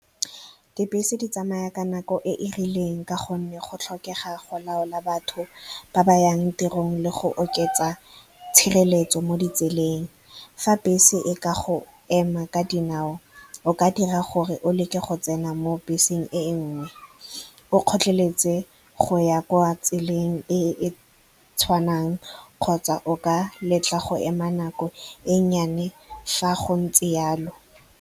Dibese di tsamaya ka nako e e rileng ka gonne go tlhokega go laola batho ba ba yang tirong le go oketsa tshireletso mo ditseleng. Fa bese e ka go ema ka dinao, o ka dira gore o leke go tsena mo beseng e nngwe, o gotlheletse go ya kwa tseleng e e tshwanang, kgotsa o ka letla go ema nako e nnyane fa go ntse jalo.